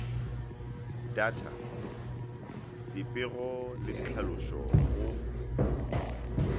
data dipego le ditlhalošo go